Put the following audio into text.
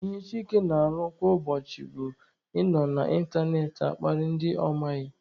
Ihe Chike na-arụ kwa ụbọchị bụ ị nọ na ịntanetị akparị ndị ọ maghị.